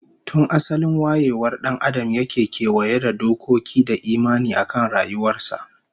Tun asalin wayewar dan Adam yake kewaye da dokoki da imani akan rayuwar sa